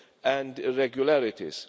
and irregularities.